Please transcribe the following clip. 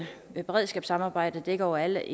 beredskabssamarbejde dækker over alle